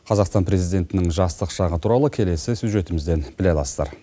қазақстан президентінің жастық шағы туралы келесі сюжетімізден біле аласыздар